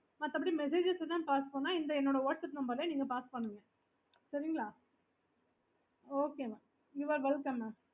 okay